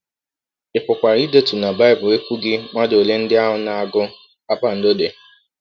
Ị pụkwara ịdetụ na Bible ekwughị mmadụ ole ndị ahụ na - agụ kpakpando dị.